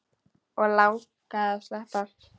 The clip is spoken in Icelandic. Og langaði að sleppa.